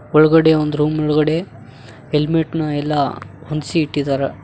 ಒಳಗಡೆ ಒಂದು ರೂಮ್ ಒಳಗಡೆ ಹೆಲ್ಮೆಟ್ ನ ಎಲ್ಲಾ ಹೊಂದ್ಸಿ ಇಟ್ಟಿದ್ದಾರ.